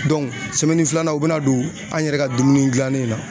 filanan u be na don an yɛrɛ ka dumuni gilannen in na.